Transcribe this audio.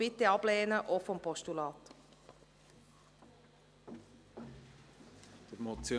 Bitte lehnen Sie diesen Vorstoss auch als Postulat ab.